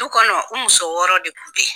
Du kɔnɔ u muso wɔɔrɔ de kun bɛ ye.